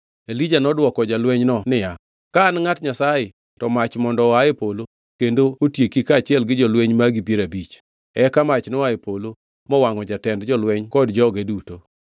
Elija nodwoko jalwenyno niya, “Ka an ngʼat Nyasaye, to mach mondo oa e polo kendo otieki kaachiel gi jolweny magi piero abich.” Eka mach noa e polo mowangʼo jatend jolweny kod joge duto.